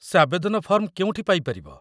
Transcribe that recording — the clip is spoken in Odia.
ସେ ଆବେଦନ ଫର୍ମ କେଉଁଠି ପାଇପାରିବ?